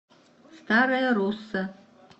старая русса